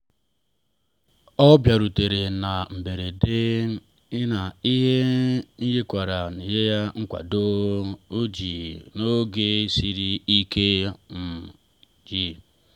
o bịarutere na mberede na nri nyekwaara ya nkwado dị jụụ n’oge siri ike. um